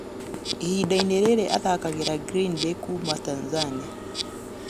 Ihinda-inĩ rĩrĩ athakagera Greenbay kuuma Tanzania.